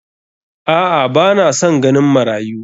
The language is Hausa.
A'a ba na san ganin marayu.